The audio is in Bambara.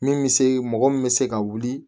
Min bɛ se mɔgɔ min bɛ se ka wuli